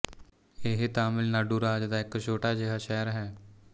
ਇਹ ਤਮਿਲਨਾਡੁ ਰਾਜ ਦਾ ਇੱਕ ਛੋਟਾ ਜਿਹਾ ਸ਼ਹਿਰ ਹੈ